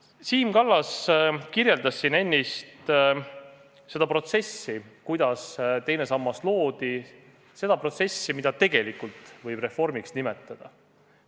Siim Kallas kirjeldas siin ennist protsessi, kuidas teine sammas loodi – seda protsessi, mida tegelikult võib nimetada reformiks.